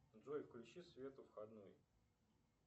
джой включи свет у входной